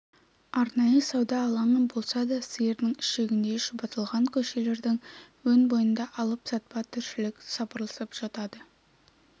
арнайы сауда алаңы болса да сиырдың ішегіндей шұбатылған көшелердің өн бойында алып-сатпа тіршілік сапырылысып жатады